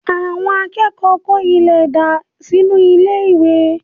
Àwọn akẹ́kọ̀ọ́ kó ilẹ̀ dà sínú ilé-ilẹ̀